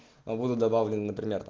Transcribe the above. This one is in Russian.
погода добавлено